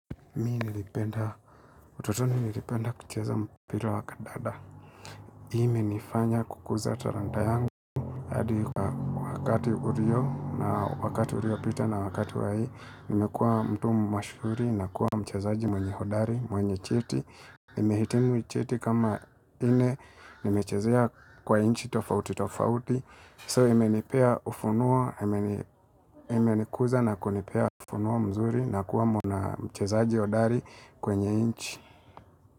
Mi nilipenda, utotoni nilipenda kucheza mpira wa kadada hiii imenifanya kukuza taranta yangu hadi wakati uriopita na wakati wa hii Nimekua mtu mashuhuri na kuwa mchezaji mwenye hodari, mwenye cheti Nimehitimu cheti kama ine, nimechezea kwa inchi tofauti tofauti So imenipia ufunua, imenikuza na kunipea ufunua mzuri na kuwa mwanamchezaji hodari kwenye inchi.